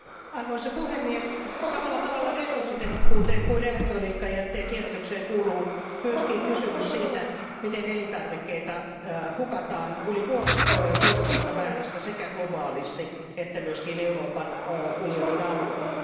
Arvoisa puhemies, samalla tavalla resurssitehokkuuteen kuin elektroniikkajätteen kierrätykseen kuuluu myöskin kysymys siitä, miten elintarvikkeita hukataan yli puolet tuotetusta määrästä sekä globaalisti että myöskin Euroopan unionin alueella.